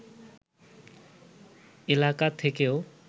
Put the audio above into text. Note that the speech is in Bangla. এলাকা থেকেও